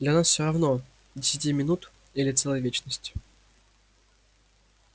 для нас всё равно десяти минут или целая вечность